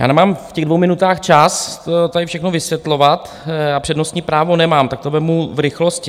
Já nemám v těch dvou minutách čas tady všechno vysvětlovat, já přednostní právo nemám, tak to vezmu v rychlosti.